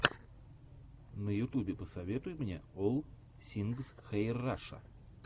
на ютубе посоветуй мне олл сингс хэир раша